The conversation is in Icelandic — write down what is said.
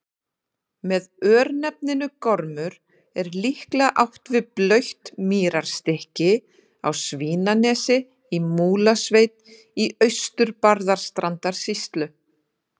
Með örnefninu Gormur er líklega átt við blautt mýrarstykki á Svínanesi í Múlasveit í Austur-Barðastrandarsýslu.